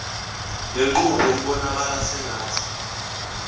lenqubo ibonakala sengathi